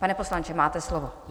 Pane poslanče, máte slovo.